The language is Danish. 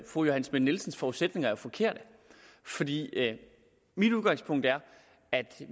fru johanne schmidt nielsens forudsætninger er forkerte fordi mit udgangspunkt er at